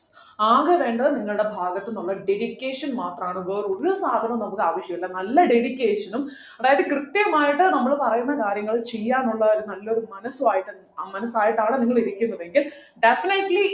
ആകെ വേണ്ടത് നിങ്ങളുടെ ഭാഗത്തു നിന്നുള്ള dedication മാത്രമാണ് വേറൊരു സാധനവും നമുക്ക് ആവശ്യമില്ല നല്ല dedication നും അതായത് കൃത്യമായിട്ട് നമ്മള് പറയുന്ന കാര്യങ്ങള് ചെയ്യാനുള്ള ഒരു നല്ലൊരു മനസ്സു ആയിട്ട ആ മനസായിട്ടാണ് നിങ്ങൾ ഇരിക്കുന്നതെങ്കിൽ definitely